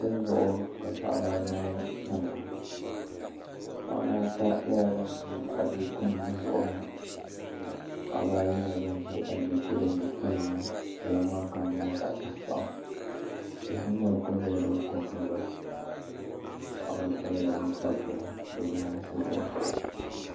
Soli zuɣu ka paɣaba anahi tamya paɣaba ata nyɛla ban ʒi adiiku nim bi zuɣuri ni paɣaba ayi nyɛla bin ʒi adiiku din bɛ kpalaŋ ni kpalaŋ maa kama nyɛla zaɣ tankpaɣu tihi ni mori ku nyɛla din ko n giliba paɣaba ata nyɛla ban kpabi bihi bi yaansi zuɣu